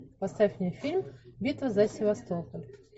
поставь мне фильм битва за севастополь